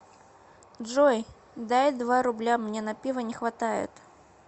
джой дай два рубля мне на пиво не хватает